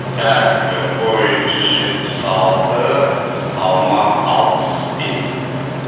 так бой жүз жетпіс алты салмақ алпыс бес